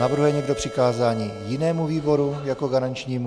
Navrhuje někdo přikázání jinému výboru jako garančnímu?